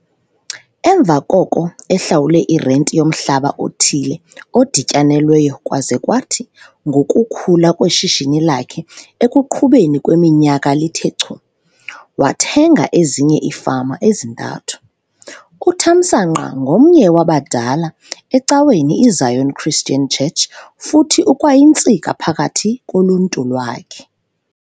Emva koko ehlawule irenti yomhlaba othile odityanelweyo kwaze kwathi ngokukhula kweshishini lakhe ekuqhubeni kweminyaka lithe chu, wathenga ezinye iifama ezintathu. UThamsanqa ngomnye wabadala ecaweni iZion Christian Church futhi ukwayintsika phakathi koluntu lwakhe.